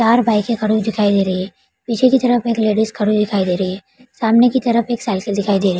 चार बाइक खड़ी हुई दिखाई दे रही हैं पीछे की तरफ एक लेडीज खड़ी हुई दिखाई दे रही है सामने के तरफ एक साइकिल दिखाई दे रही है।